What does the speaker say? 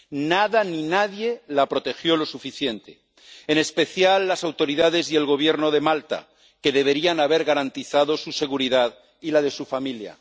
Nada ni nadie la protegió lo suficiente, en especial las autoridades y el Gobierno de Malta, que deberían haber garantizado su seguridad y la de su familia.